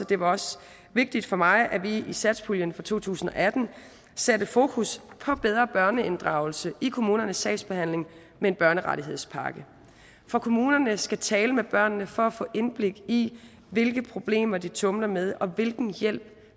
det var også vigtigt for mig at vi i satspuljen for to tusind og atten satte fokus på bedre børneinddragelse i kommunernes sagsbehandling med en børnerettighedspakke for kommunerne skal tale med børnene for at få indblik i hvilke problemer de tumler med og hvilken hjælp